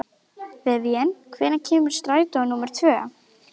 Teiti þótti stelpa ein á Eskifirði fremur löt til verka.